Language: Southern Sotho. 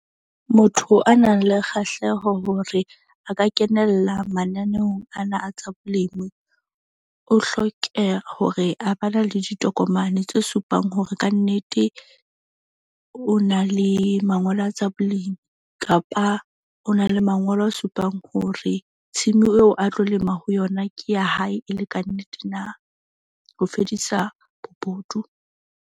Motho a nang le kgahleho hore a ka kenella mananeong ana a tsa bolemi. O hlokeha hore a ba na le ditokomane tse supang hore kannete o na le mangolo a tsa bolemi kapa o na le mangolo a supang hore team eo a tlo lema ho yona, ke ya hae e le kannete na, ho fedisa bobodu.